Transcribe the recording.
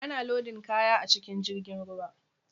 Ana lodin kaya a cikin jirgin ruwa.